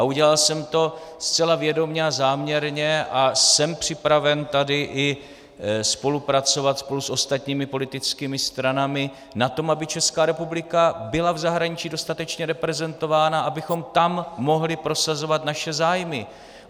A udělal jsem to zcela vědomě a záměrně a jsem připraven tady i spolupracovat spolu s ostatními politickými stranami na tom, aby Česká republika byla v zahraničí dostatečně reprezentována, abychom tam mohli prosazovat naše zájmy.